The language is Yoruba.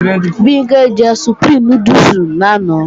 Bimpé jẹ Supreme núdùsì lánàá